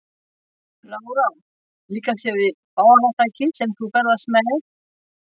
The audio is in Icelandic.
Lára: Líkar þér við farartækið sem þú ferðast með?